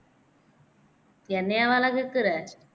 என்னையவால கேக்குற